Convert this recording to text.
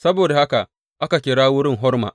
Saboda haka aka kira wurin Horma.